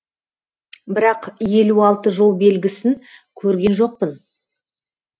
бірақ елу алты жол белгісін көрген жоқпын